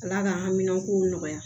Ala ka hamina kow nɔgɔya